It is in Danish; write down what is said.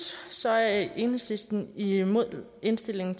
så er enhedslisten imod indstillingen